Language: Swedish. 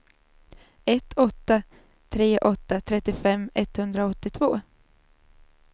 ett åtta tre åtta trettiofem etthundraåttiotvå